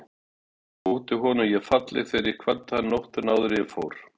Þótti honum ég falleg þegar ég kvaddi hann nóttina áður en ég fór?